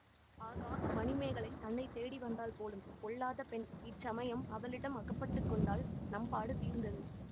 ஆகா மணிமேகலை தன்னை தேடி வந்தாள் போலும் பொல்லாத பெண் இச்சமயம் அவளிடம் அகப்பட்டு கொண்டால் நம்பாடு தீர்ந்தது